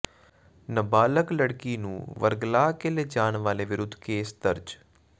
ਨਬਾਲਗ ਲੜਕੀ ਨੂੰ ਵਰਗਲਾ ਕੇ ਲਿਜਾਣ ਵਾਲੇ ਵਿਰੁੱਧ ਕੇਸ ਦਰਜ